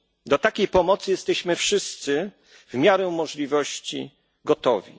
Na taką pomoc jesteśmy wszyscy w miarę możliwości gotowi.